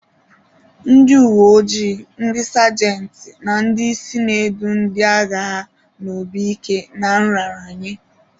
Ndị uwe ojii, ndị sejenti, na ndị isi na-edu ndị agha ha n'obi ike na nraranye.